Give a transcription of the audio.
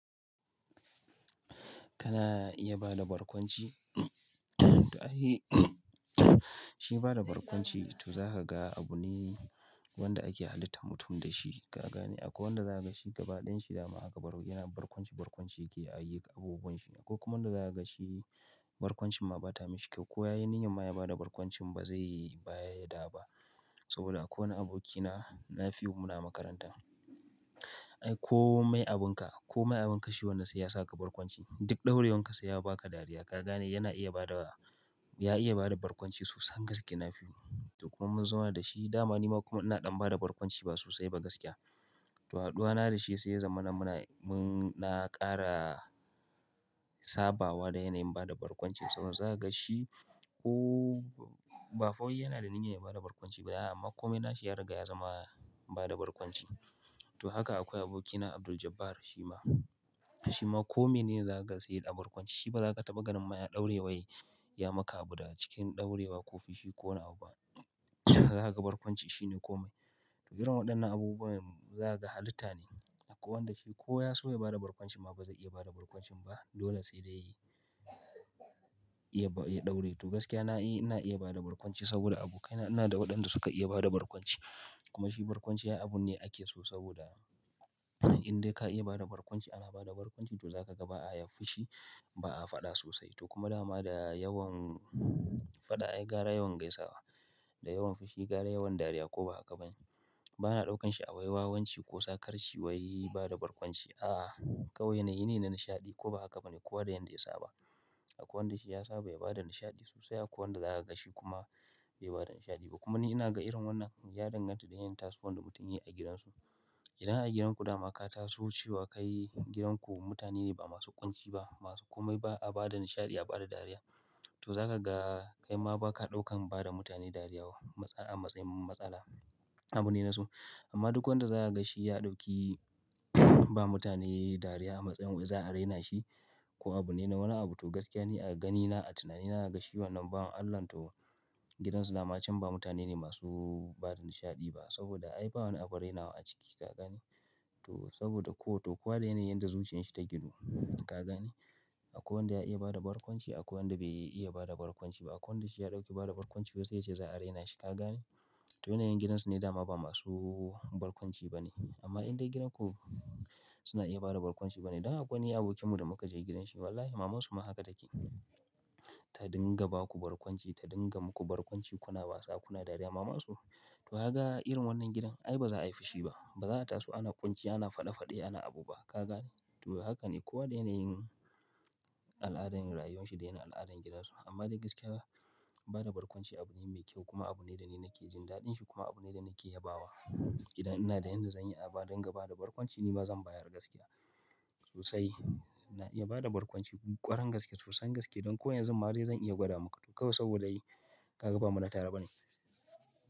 Kana iya bada barkwanci? To ai, shi bada barkwanci to zaka ga abu ne wanda ake halitta mutum da shi. Ka gane akwai wanda za ka gashi gaba ɗayanshi dama haka baro yana barkwanci barkwanci yake a yi abubuwan shi. Akwai kuma wanda za ka gashi barkwancin ma ba ta mishi kyau. Ko ya yi niyyar ma ya bada barkwanci ba zai ba yadda ba. Saboda akwai wani abokina, Nafiu muna makaranta. Ai kome abun ka, kome abun ka shi wannan sai ya sa ka barkwanci. Duk ɗaurewan ka sai ya ba ka dariya. Ka gane yana iya bada, ya iya bada barkwanci sosai gaske Nafiu. To kuma mun zauna da shi dama ni ma kuma ina ɗan bada barkwanci ba sosai ba gaskiya. To haduwa na da shi sai ya zamana muna, mun na kara saba wa da yanayin bada barkwanci. Saboda za ka ga shi ko ba fa wai yana da niyyar ya bada barkwanci ba amma kome na shi ya riga ya zama bada barkwanci. To haka akwai abokina Abduljabbar Shima. Shima kome ne za kaga sai a barkwanci shi ba za ka taɓa ganin ma ya ɗaure wai ya maka abu da a cikin ɗaurewa ko fushi ko wani abu ba. Za ka ga barkwanci shi ne kome. To irin waɗannan abubuwa za ka ga halitta ne. Akwai wanda shi ko ya so ya bada barkwanci ma ba zai iya bada barkwancin ba. Dole sai da ya, ya ɗaure. To gaskiya na yi, ina iya bada barkwanci saboda abokaina ina da waɗanda suka iya bada barkwanci. Kuma shi barkwanci abu ne ake so saboda in dai ka iya bada barkwanci ana bada barkwanci to za ka ga ba a yin fushi ba a faɗa sosai. To kuma dama da yawan faɗa, ai gara yawan gaisawa. Da yawan fushi gara yawan dariya ko ba haka ba ne? Ba na ɗaukan shi a wai wawanci ko sakarci wai bada barkwanci. A'a kawai yanayi ne na nishaɗi ko ba haka ba ne? Kowa da yanda ya saba. Akwai wanda shi ya saba ya bada nishaɗi sosai akwai wanda za ka ga shi kuma bai bada nishaɗi ba. Kuma ni ina ga irin wannan ya danganta da yanayin taso wan da mutum yayi a gidansu. Idan a gidan ku dama ka taso cewa kai gidan ku mutane ba masu ƙunci ba masu kome ba a bada nishaɗi a bada dariya, to za ka ga kai ma ba ka ɗaukan bada mutane dariya a matsayin matsala. Abu ne na so. Amma duk wanda za ka ga shi ya ɗauki ba mutane dariya a matsayin za a raina shi ko abu ne na wani abu. To gaskiya ne a ganina a tunanina ina ga shi wannan ba don Allah to gidansu dama cin ba mutane ne masu bada nishaɗi ba. Saboda ai ba wani abu rainawa a ciki ka gane. To saboda ko to kowa da yanayin yadda zuciyan shi ta gunu. Ka gane? Akwai wanda ya iya bada barkwanci akwai wanda bai iya bada barkwanci ba. Akwai wanda shi ya ɗauki bada barkwanci wai sai ya ce za a raina shi ka gane? To yanayin gidansu ne dama ba masu barkwanci ba ne. Amma in dai gidan ku suna iya bada barkwanci ba ne. Dan akwai wani abokinmu da muka je gidan shi wallahi mamansu ma haka take. Ta dinga ba ku barkwanci ta dinga muku barkwanci kuna wasa kuna dariya mamansu. To kaga irin wannan gidan ai ba za a yi fushi ba. Ba za a taso ana ƙunci ana faɗe-faɗe ana abu ba ka gane? To haka ne kowa dai yana yin al'adar rayuwan shi dai yana yin al'adar gidansu. Amma dai gaskiya ba, bada barkwanci abu ne mai kyau kuma abu ne da ni nake jin daɗin shi kuma abu ne da nake yabawa. Idan ina da yanda zan yi a ba dinga bada barkwanci ni ma zan bayar gaskiya sosai. Na iya bada barkwanci ƙwaran gaske sosai gaske don ko yanzun ma dai zan iya gwada muku. To kawai saboda yi kaga ba muna tare ba ne.